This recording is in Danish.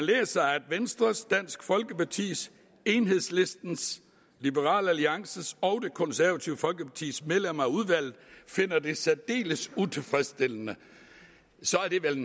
venstres dansk folkepartis enhedslistens liberal alliances og det konservative folkepartis medlemmer af udvalget finder det særdeles utilfredsstillende så er det vel